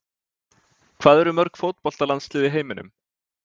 Hvað eru mörg fótboltalandslið í heiminum?